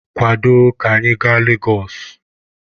Kwado ka anyị gaa Legosụ!